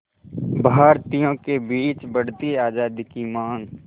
भारतीयों के बीच बढ़ती आज़ादी की मांग